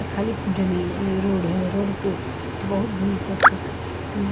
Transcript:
यहाँ खालिक जमी एं रोड है रोड पे बहुत दूर तक उम्म--